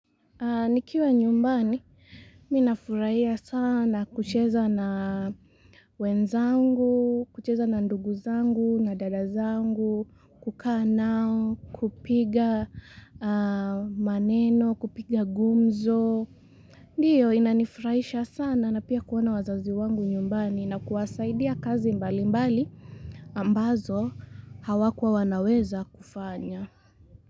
Ni kiwa nyumbani, minafurahia sana kucheza na wenzangu, kucheza na nduguzangu, nadadazangu, kukaa nao, kupiga maneno, kupiga gumzo. Ndio inanifurahisha sana na pia kuona wazaziwangu nyumbani, na kuwasaidia kazi mbali mbali ambazo hawakua wanaweza kufanya.